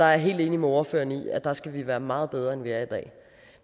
jeg helt enig med ordføreren i at der skal vi være meget bedre end vi er i dag